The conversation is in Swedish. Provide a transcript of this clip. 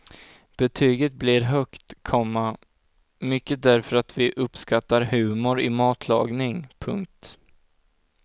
Betyget blir högt, komma mycket därför att vi uppskattar humor i matlagning. punkt